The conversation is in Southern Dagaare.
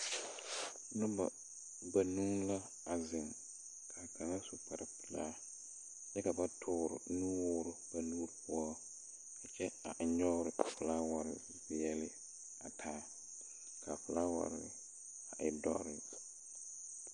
Noba banuu la a zeŋ, k'a kaŋa a su kparpelaa kyɛ ka ba toore nuwoor ba nu poɔ a kyɛ a ennyɔɔr a folaware gbeɛle a taa ka folaware a e dɔrre.